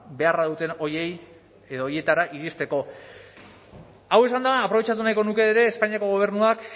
ba beharra duten horietara iristeko hau esanda aprobetxatu nahiko nuke ere espainiako gobernuak